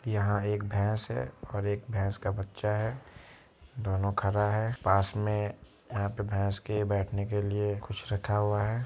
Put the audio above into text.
यहाँ एक भैस है और एक भैस का बच्चा है दोनों खड़ा है पास में यहाँ पे भैस के बैठने के लिए कुछ रखा हुआ है।